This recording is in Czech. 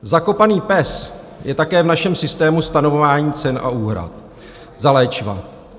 Zakopaný pes je také v našem systému stanovování cen a úhrad za léčiva.